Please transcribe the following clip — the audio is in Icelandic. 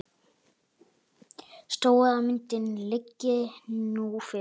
Stóra myndin liggi nú fyrir.